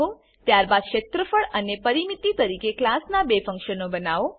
ત્યારબાદ ક્ષેત્રફળ અને પરીમીતી તરીકે ક્લાસનાં બે ફંક્શનો બનાવો